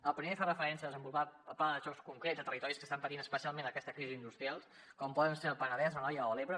el primer fa referència a desenvolupar plans de xoc concrets a territoris que estan patint especialment aquesta crisi industrial com poden ser el penedès l’anoia o l’ebre